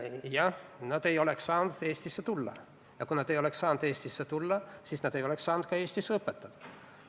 Jah, nad ei oleks saanud Eestisse tulla, ja kui nad ei oleks saanud Eestisse tulla, siis nad ei oleks saanud ka Eestis õpetada.